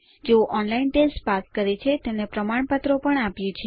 જેઓ online test pass કરે છે તેમને પ્રમાણપત્રો પણ આપીએ છીએ